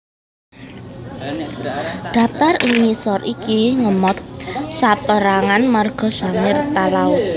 Daptar ing ngisor iki ngemot saperangan marga Sangir Talaud